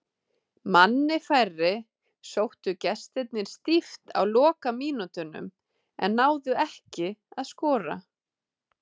Manni færri sóttu gestirnir stíft á lokamínútunum en náðu ekki að skora.